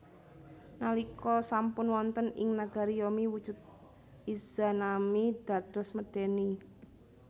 Nalika sampun wonten ing nagari Yomi wujud Izanami dados medèni